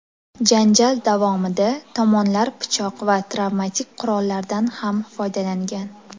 Janjal davomida tomonlar pichoq va travmatik qurollardan ham foydalangan.